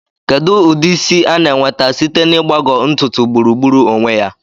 Kedu ụdị isi a na-enweta site na ịgbagọ ntutu gburugburu onwe ya?